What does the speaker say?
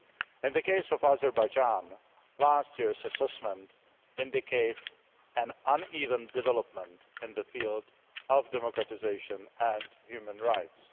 In the case of Azerbaijan, last year's assessment indicates an uneven development in the field of democratisation and human rights.